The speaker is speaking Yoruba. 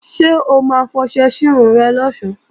Ṣé o ma fọṣẹ sírun rẹ̀ lọ̀sán?